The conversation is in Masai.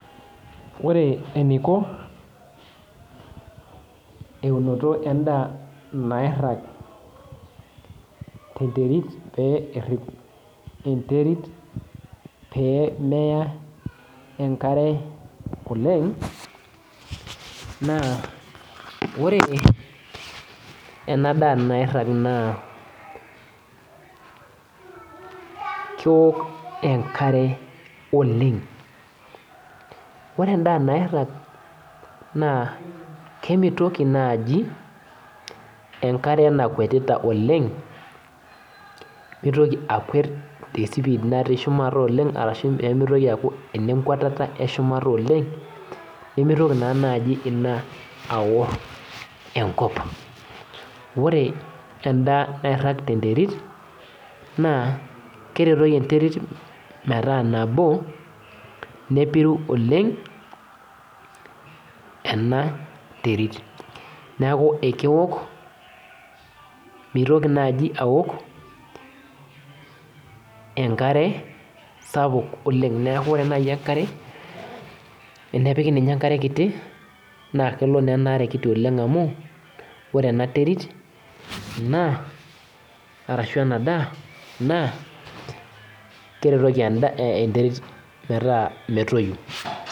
Ore eniko eunoto endaa nairag tenderit perip enterit pemeya enkare oleng na oreenadaa nairag na keok enkare oleng ore endaa nairag nakemitoki nai enkare nakwetita oleng mitoki akuet oleng ashu mitoki aaku enenkwatata oleng nemitoki naa nai ina aor enkop ore enda nairag tenderit na keretoki enterit metaa nabo nepiru oleng enterit na keok mitoki naibaok enkare sapuk oleng amu ore nai enkare tenepiki ninye enkare kiti nakelo na enaare kiti amu ore enaterit naa arashu enada na keretoki enterit metoyu